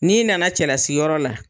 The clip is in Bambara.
N'i nana cɛlasiyɔrɔ la